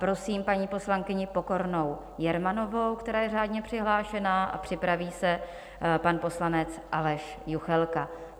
Prosím paní poslankyni Pokornou Jermanovou, která je řádně přihlášená, a připraví se pan poslanec Aleš Juchelka.